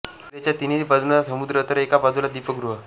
किल्ल्याच्या तीनही बाजूंना समुद्र तर एका बाजूला दीपगृह